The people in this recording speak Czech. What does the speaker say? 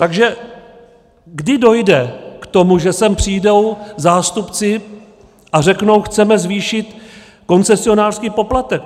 Takže kdy dojde k tomu, že sem přijdou zástupci a řeknou "chceme zvýšit koncesionářský poplatek"?